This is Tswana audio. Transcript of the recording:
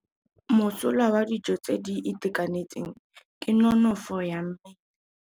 Mosola wa dijô tse di itekanetseng ke nonôfô ya mmele.